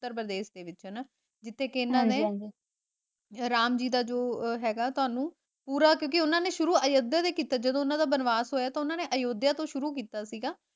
ਉੱਤਰ ਪ੍ਰਦੇਸ਼ ਦੇ ਵਿੱਚ ਹਨਾ ਉਥੇ ਕਿ ਉਹਨਾਂ ਨੇ ਰਾਮ ਜੀ ਦਾ ਜੋ ਹੈਗਾ ਤੁਹਾਨੂੰ ਪੂਰਾ ਕਿਉਂਕਿ ਉਹਨਾਂ ਨੇ ਸ਼ੁਰੂ ਅਯੋਧਿਆ ਤੋਂ ਕੀਤਾ, ਜਦੋਂ ਉਹਨਾਂ ਦਾ ਵਨਵਾਸ ਹੋਇਆ ਤਾਂ ਉਹਨਾਂ ਨੇ ਅਯੋਧਿਆ ਤੋਂ ਸ਼ੁਰੂ ਕੀਤਾ ਸੀਗਾ।